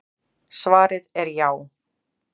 Svarið er já.